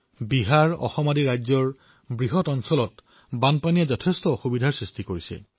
বিহাৰ অসমৰ দৰে ৰাজ্যসমূহত বানপানীয়ে যথেষ্ট সমস্যাৰ সৃষ্টি কৰিছে